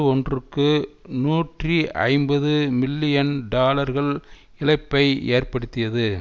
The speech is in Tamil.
ஒன்றுக்கு நூற்றி ஐம்பது மில்லியன் டாலர்கள் இழப்பை ஏற்படுத்தியது